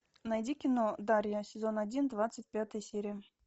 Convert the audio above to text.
найди кино дарья сезон один двадцать пятая серия